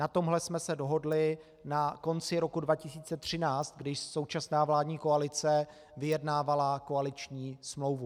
Na tomhle jsme se dohodli na konci roku 2013, kdy současná vládní koalice vyjednávala koaliční smlouvu.